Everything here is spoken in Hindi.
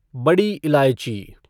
बड़ी इलायची